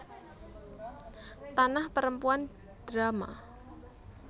Tanah Perempuan drama